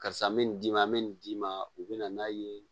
Karisa n bɛ nin d'i ma an bɛ nin d'i ma u bɛ na n'a ye